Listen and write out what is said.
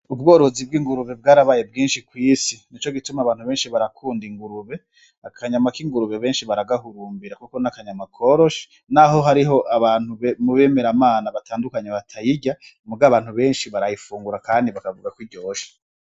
Ubworozi bw'ingurube bwarabaye bwinshi kw'isi. Ni ico gituma abantu benshi barakunda ingurube, akanyama k'ingurube benshi baragahurumbira kuko n'akanyama koroshe, n'aho hariho abantu mu bemeramana batandukanye batayirya, mugabo abantu benshi barayifungura kandi bakavuga kwiryoshe.